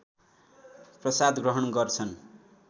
प्रसाद ग्रहण गर्छन्